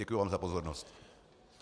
Děkuji vám za pozornost.